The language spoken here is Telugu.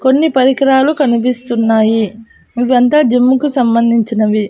కొన్ని పరికరాలు కనిపిస్తున్నాయి ఇవి అంతా జిమ్ కి సంబంధించినవి.